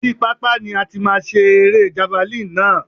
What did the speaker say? Oríi pápá ni a ti máa ṣe erée javalínì náà.